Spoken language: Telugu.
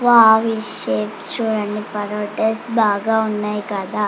వోవ్ ఈ చుడండి పరోటాస్ బాగా ఉన్నాయి కదా.